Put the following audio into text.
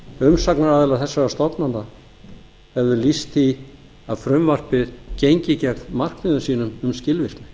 umsagnaraðilar þessara stofnana hefðu lýst því að frumvarpið gengi gegn markmiðum sínum um skilvirkni